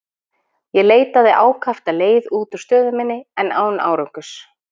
Ég leitaði ákaft að leið út úr stöðu minni, en án árangurs.